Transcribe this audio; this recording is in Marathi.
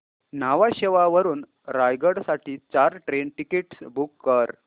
न्हावा शेवा वरून रायगड साठी चार ट्रेन टिकीट्स बुक कर